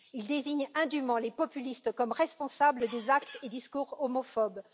Il désigne indûment les populistes comme responsables des actes et discours homophobes.